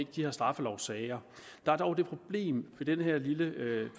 de her straffelovssager der er dog det problem med dette lille